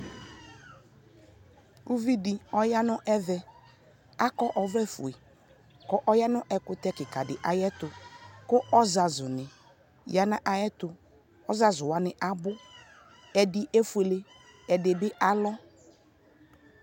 ʋvidi ɔya nʋ ɛvɛ, akɔ ɔvlɛ fʋɛ kʋ ɔya nʋ ɛkʋtɛ kikaa di ayɛtʋ kʋ ɔzazʋ ni ɔya nʋ ayɛtʋ, ɔzazʋ wani abʋ, ɛdi ɛƒʋɛlɛ, ɛdi bi alɔ